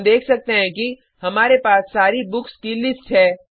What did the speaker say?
हम देख सकते हैं कि हमारे पास सारी बुक्स की लिस्ट है